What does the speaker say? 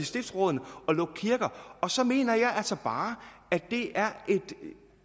stiftsrådene at lukke kirker og så mener jeg altså bare at det